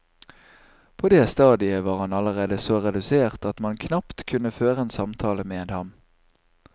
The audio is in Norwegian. På det stadiet var han allerede så redusert at man knapt kunne føre en samtale med ham.